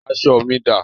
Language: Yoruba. Aṣọ mi dá?